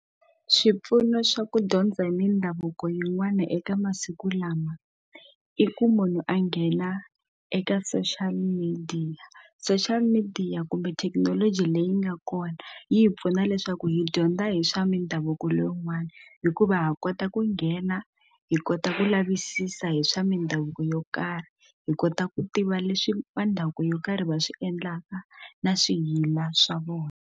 Swipfuno swa ku dyondza hi mindhavuko yin'wana eka masiku lama i ku munhu a nghena eka social media social media kumbe thekinoloji leyi nga kona yi hi pfuna leswaku ku hi dyondza hi swa mindhavuko leyin'wana hikuva ha kota ku nghena hi kota ku lavisisa hi swa mindhavuko yo karhi hi kota ku tiva leswi va ndhavuko yo karhi va swi endlaka na swiyila swa vona.